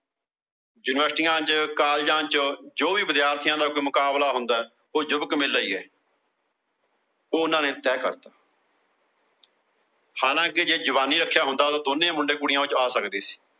Universites ਚ, Colleges ਚ ਜੋ ਵੀ ਵਿਦਿਆਰਥੀਆਂ ਦਾ ਕੋਈ ਮੁਕਬਲਾ ਹੁੰਦਾ ਯੁਵਕ ਮੇਲਾ ਹੀ ਹੈ। ਉਹ ਉਹਨਾਂ ਨੇ ਤੈਅ ਕਰਤਾ। ਹਾਲਾਂ ਕੇ ਜੇ ਜਵਾਨੀ ਰੱਖਿਆ ਹੁੰਦਾ ਤਾਂ ਦੋਵੇ ਮੁੰਡੇ ਕੁੜੀਆਂ ਉਹਦੇ ਵਿੱਚ ਆ ਸਕਦੇ ਸੀ।